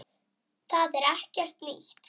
Það er ekkert nýtt.